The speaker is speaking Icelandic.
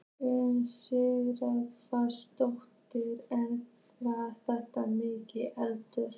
Una Sighvatsdóttir: En var þetta mikill eldur?